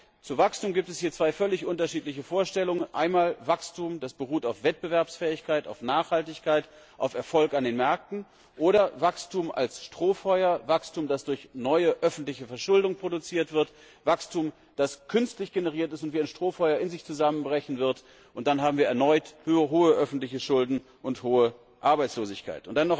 Nein, zu Wachstum gibt es hier zwei völlig unterschiedliche Vorstellungen einmal Wachstum, das auf Wettbewerbsfähigkeit, auf Nachhaltigkeit, auf Erfolg an den Märkten beruht, oder Wachstum als Strohfeuer, Wachstum, das durch neue öffentliche Verschuldung produziert wird, Wachstum, das künstlich generiert ist und wie ein Strohfeuer in sich zusammenbrechen wird, und dann haben wir erneut hohe öffentliche Schulden und hohe Arbeitslosigkeit.